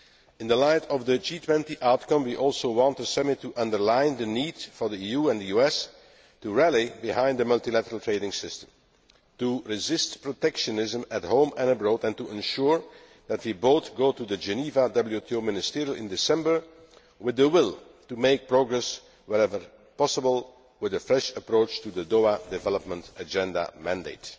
In the light of the G20 outcome, we also want the Summit to underline the need for the EU and US to rally behind the multilateral trading system, to resist protectionism at home and abroad, and to ensure that we both go to the Geneva WTO Ministerial Conference in December with the will to make progress wherever possible with a fresh approach to the Doha Development Agenda mandate.